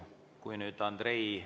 Kui nüüd Andrei ...